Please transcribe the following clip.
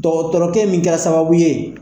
Dɔgɔtɔrɛkɛ min kɛra sababu ye